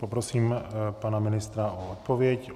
Poprosím pana ministra o odpověď.